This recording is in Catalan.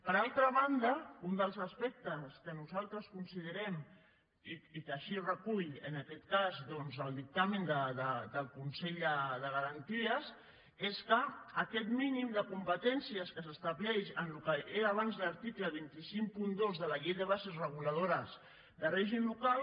per altra banda un dels aspectes que nosaltres considerem i que així recull en aquest cas el dictamen del consell de garanties és que aquest mínim de competències que s’estableix en el que era abans l’article dos cents i cinquanta dos de la llei de bases reguladores de règim local